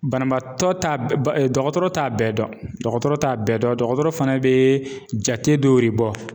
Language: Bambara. Banabaatɔ t'a ba dɔ dɔgɔtɔrɔ t'a bɛɛ dɔn. Dɔgɔtɔrɔ t'a bɛɛ dɔn, dɔgɔtɔrɔ fana be jate dɔ de bɔ.